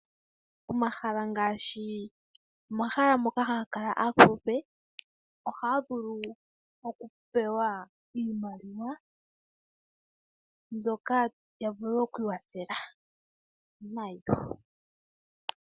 Omahala ngaashi omahala moka hamu kala aakulupe ohaya vulu okupewa iimaliwa, mbyoka ya vule okwiikwathela nayo.